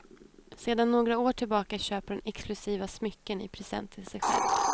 Sedan några år tillbaka köper hon exklusiva smycken i present till sig själv.